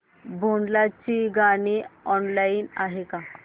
भोंडला ची गाणी ऑनलाइन आहेत का